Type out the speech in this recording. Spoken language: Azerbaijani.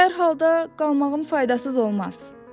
Hər halda qalmağım faydasız olmaz.